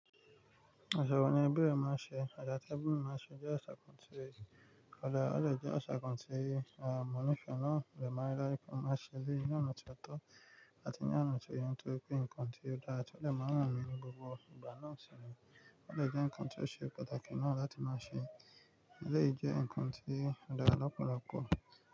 Asa ni be ma n se ati ebi mi man se je asa kan ti nípẹ̀ẹ́ náà, ọ̀rẹ̀ máa dára púpọ̀, má ṣe ni oná ti o to ati ní a nọ̀tẹ̀ èyí tó pé nǹkan tí ó dára tọ̀, ó lè máa hàn mí ní gbogbo ìgbà náà sì rìn, ó lè jẹ́ nǹkan tí ó ṣe pàtàkì náà láti má ṣe, ó lè jẹ́ nǹkan tí ó dára lọ́pọ̀lọpọ̀.